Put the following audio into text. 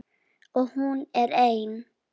Og hún er ein.